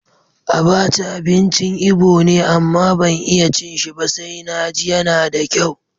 Abacha abincin Ibo ne, amma ban iya cin shi ba sai na ji yana da kyau.